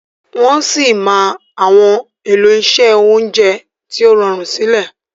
Wọ sí má Àwọn elo iṣé oúnjẹ tíó rọrun sílè.